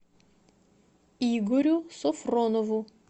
игорю софронову